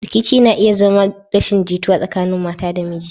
Rikici na iya zama rashin jituwa tsakanin mata da miji.